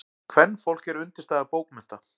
Kvenfólk er undirstaða bókmennta.